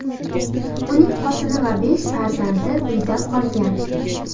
Uning xotini va besh farzandi uyda qolgan.